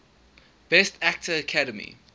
best actor academy